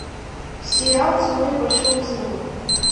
сериал теория большого взрыва